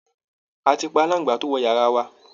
A ti pa aláǹgbá tó wọ yara wa